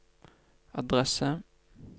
adresse